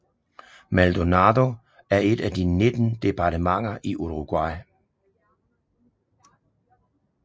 Maldonado er et af de 19 departementer i Uruguay